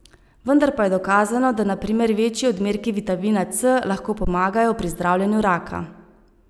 Vendar pa je dokazano, da na primer večji odmerki vitamina C lahko pomagajo pri zdravljenju raka.